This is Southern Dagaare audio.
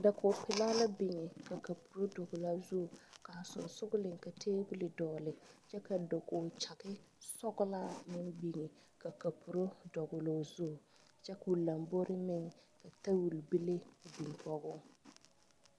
Dakoge pilaa la biŋ ka kapuro dɔgle o zuiŋ kaa sɔgsɔgliŋ ka tabol dɔgle kyɛ ka dakoge kyaŋ sɔglaa meŋ biŋ ka kapuro dɔgloo zu kyɛ koo lambori meŋ ka tabol bile meŋ biŋ kɔge o.